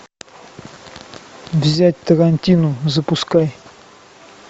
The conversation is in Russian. взять тарантину запускай